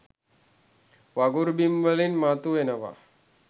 වගුරු බිම් වලින් මතු වෙනවා.